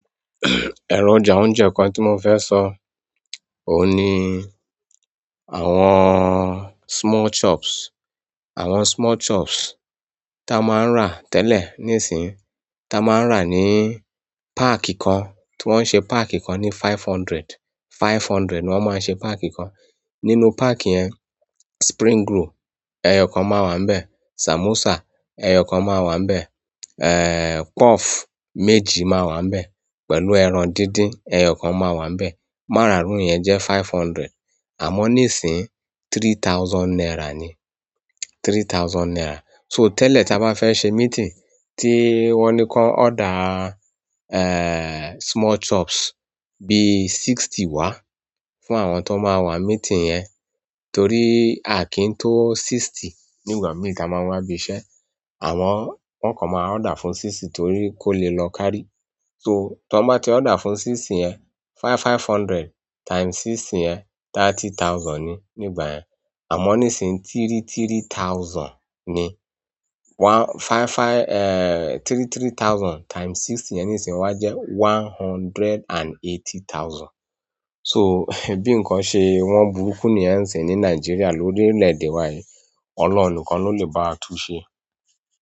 Ẹ̀rọ̀jà oúnjẹ kan tí mo fẹ́ sọ, òun ni àwọn small chops. Àwọn small chops tí a máa ń rà tẹ́lẹ̀ nísinyìí, tí a máa ń rà ní páàkì kan, tí wọ́n ṣe páàkì kan ní five hundred, five hundred ni wọ́n máa ṣe páàkì kan. Nínú páàkì yẹn, spring roll ẹyọ kan máa wà níbẹ̀, samosa ẹyọ kan máa wà níbẹ̀, puff méjì máa wà níbẹ̀ pẹ̀lú ẹran díndín ẹyọ kan máa wà níbẹ̀. Mararun yẹn jẹ́ five hundred àmọ́ níìsín three thousand naira ni, three thousand naira. So tẹ́lẹ̀ tí a bá fẹ́ ṣe meeting tí wọ́n ni kan order small chops bi sixty wa fún àwọn tọ má wà meeting yẹn torí aki to sixty nígbà mi ta má wà bi iṣẹ́. Àmọn wọn kọ̀ máa order fún sixty torí kò le lọ kárí. So tí wọ́n bá ti order fún sixty yẹn, five five hundred times sixty yẹn thirty thousand ni nígbà yẹn àmọ́ níìsín three three thousand ni. One five five three three thousand times sixty yẹn níìsín wa jẹ́ one hundred and eighty thousand. So bí nǹkan ṣe wọ́n burúkú níyẹn sìn ni Nàìjíríà lórí ilẹ̀ èdè wa yìí, Ọlọ́run nìkan ló lè bá a túnsẹ́.